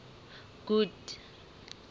good